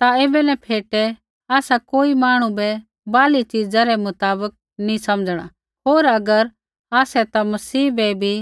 ता ऐबै न फेटै आसा कोई मांहणु बै बाहरली च़ीजा रै मुताबक नी समझणा होर अगर आसै ता मसीहा बै भी